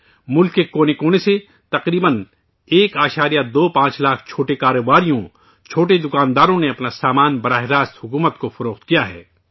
ملک کے کونے کونے سے تقریباً 1.25 لاکھ چھوٹے کاروباریوں، چھوٹے دکانداروں نے اپنا سامان براہ راست حکومت کو فروخت کیا ہے